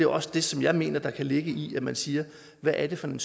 også det som jeg mener der kan ligge i at man siger hvad er det for en